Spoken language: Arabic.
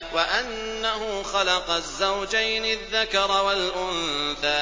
وَأَنَّهُ خَلَقَ الزَّوْجَيْنِ الذَّكَرَ وَالْأُنثَىٰ